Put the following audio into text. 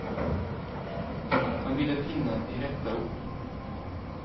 Han ville finna de rätta orden.